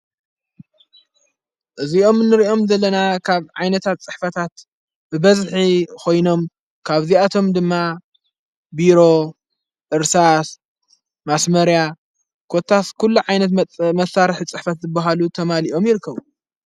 እዚኦም ንርእኦም ዘለና ኻብ ዓይነታት ጽሕፈታት ብበዝሒ ኾይኖም ካብዚኣቶም ድማ ብሮ ዕርሳስ ማስመርያ ኰታፍ ኲሉ ዓይነት መሣርሕ ዝጽሕፈት ብሃሉ ተማሊኦም ይርከቡ።